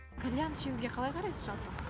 кальян шешуге қалай қарайсыз жалпы